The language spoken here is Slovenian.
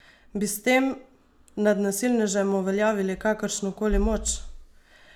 Bi s tem nad nasilnežem uveljavili kakršnokoli moč?